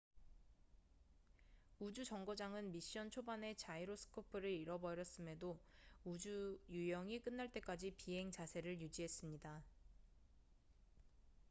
우주 정거장은 미션 초반에 자이로스코프를 잃어버렸음에도 우주 유영이 끝날 때까지 비행 자세를 유지했습니다